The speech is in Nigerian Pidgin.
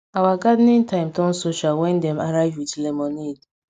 our gardening time turn social wen dem arrive wit lemonade